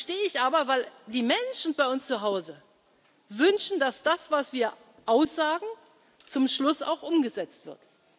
Dazu stehe ich aber, weil die Menschen bei uns zu Hause wünschen, dass das, was wir aussagen, zum Schluss auch umgesetzt